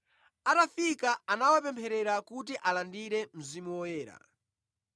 Atafika anawapempherera kuti alandire Mzimu Woyera,